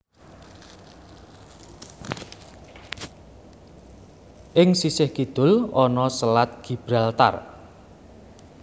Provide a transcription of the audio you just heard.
Ing sisih kidul ana Selat Gibraltar